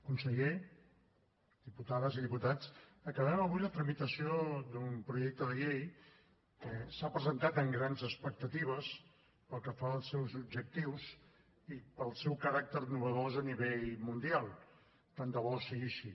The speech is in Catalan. conseller diputades i diputats acabem avui la tramitació d’un projecte de llei que s’ha presentat amb grans expectatives pel que fa als seus objectius i pel seu caràcter innovador a nivell mundial tant de bo sigui així